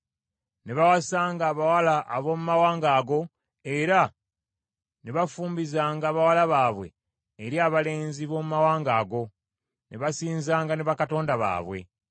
Ne bawasanga abawala ab’omu mawanga ago era ne bafumbizanga bawala baabwe eri abalenzi b’omu mawanga ago ne basinzanga ne bakatonda baabwe.